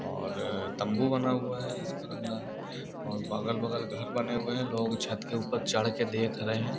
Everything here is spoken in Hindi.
और तंबू बना हू है। इसका ल बगल बगल घर बने हुए हैं लोग छत के ऊपर चढ़ के देख रहे हैं |